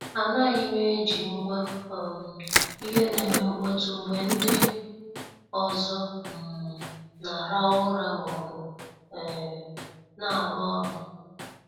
Anaghim eji ngwa um ihe na- eme mkpọtụ mgbe ndị ọzọ um na-arahu ura maọbụ um na-aru ọrụ.